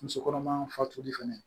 Muso kɔnɔma fatuli fɛnɛ